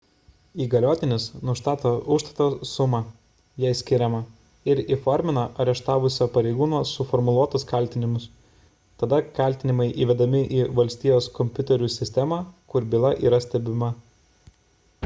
įgaliotinis nustato užstato sumą jei skiriama ir įformina areštavusio pareigūno suformuluotus kaltinimus tada kaltinimai įvedami į valstijos kompiuterių sistemą kur byla yra stebima